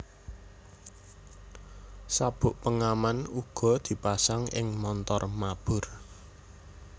Sabuk pengaman uga dipasang ing montor mabur